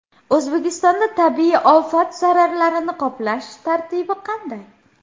O‘zbekistonda tabiiy ofat zararlarini qoplash tartibi qanday?.